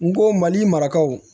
N ko mali marakaw